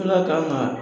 N ka kan ka